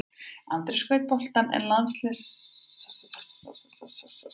Andri skaut boltanum en landsliðsmarkmaðurinn Gunnleifur sýndi frábæra takta og varði vel.